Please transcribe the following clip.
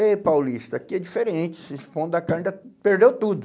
Ei, Paulista, aqui é diferente, esse pão da carne já perdeu tudo.